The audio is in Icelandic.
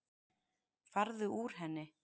Farðu úr henni.